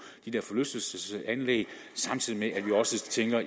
de der forlystelsesanlæg samtidig med at vi også tænker